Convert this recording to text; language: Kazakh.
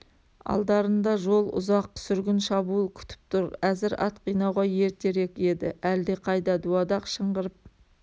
алдарында жол ұзақ сүргін шабуыл күтіп тұр әзір ат қинауға ертерек еді әлде қайда дуадақ шыңғырып